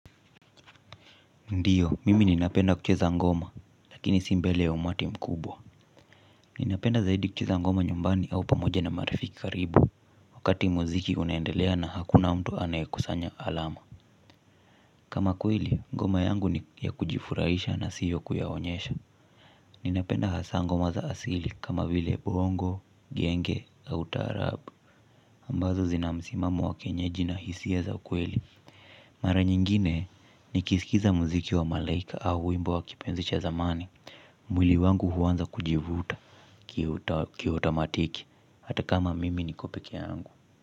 Ndiyo, mimi ninapenda kucheza ngoma, lakini si mbele ya umati mkubwa. Ninapenda zaidi kucheza ngoma nyumbani au pamoja na marifiki karibu, wakati muziki unaendelea na hakuna mtu anayekusanya alama. Kama kweli, ngoma yangu ni ya kujifurahisha na siyo kuyaonyesha. Ninapenda hasa ngoma za asili, kama vile bongo, genge, au tarabu. Ambazo zina msimamo wa kienyeji na hisia za kweli. Mara nyingine, nikisikiza muziki wa malaika au wimbo wa kipenzi cha zamani. Mwili wangu huanza kujivuta kiotomatiki. Hata kama mimi niko pekee yangu.